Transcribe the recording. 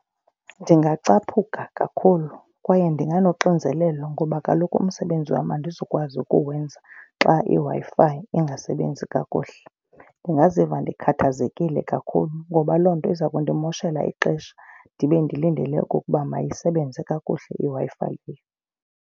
Ndingacaphuka kakhulu kwaye ndinganoxinzelelo ngoba kaloku umsebenzi wam andizukwazi ukuwenza xa iWi-Fi ingasebenzi kakuhle. Ndingaziva ndikhathazekile kakhulu ngoba loo nto iza kundimoshela ixesha ndibe ndilindele okokuba mayisebenze kakuhle iWi-Fi leyo.